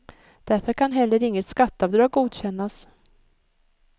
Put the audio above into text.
Därför kan heller inget skatteavdrag godkännas.